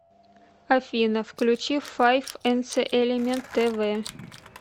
афина включи файф энцэ элемент тэ вэ